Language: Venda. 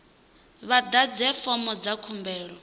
vha ḓadze fomo dza khumbelo